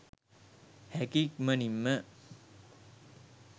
හැකි ඉක්මනින්ම